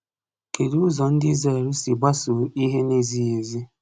Kedụ ụzọ ndị Izrel si gbasoo ihe na-ezighị ezi?